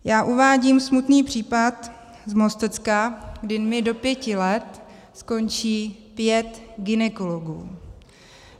Já uvádím smutný případ z Mostecka, kdy mi do pěti let skončí pět gynekologů.